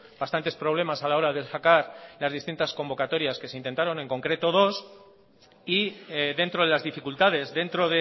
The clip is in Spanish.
bastantes problemas a la hora de sacar las distintas convocatorias que se intentaron en concreto dos y dentro de las dificultades dentro